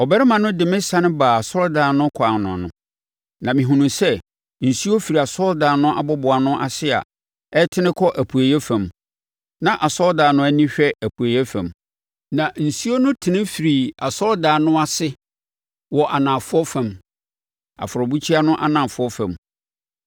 Ɔbarima no de me sane baa asɔredan no ɛkwan ano, na mehunuu sɛ nsuo firi asɔredan no aboboano ase a ɛtene kɔ apueeɛ fam (na asɔredan no ani hwɛ apueeɛ fam). Na nsuo no tene firii asɔredan no ase wɔ anafoɔ fam; afɔrebukyia no anafoɔ fam.